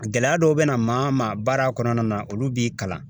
Gɛlɛya dɔw bɛ na maa ma baara kɔnɔna na, olu b'i kalan.